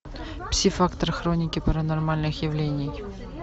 пси фактор хроники паранормальных явлении